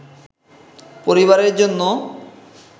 পরিবারের জন্য